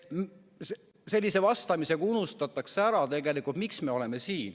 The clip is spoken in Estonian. Sellise vastamisega unustatakse ära, miks me siin oleme.